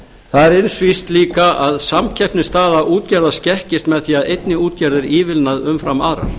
það er eins víst líka að samkeppnisstaða útgerðar skekkist með því að einni útgerð er ívilnað umfram aðrar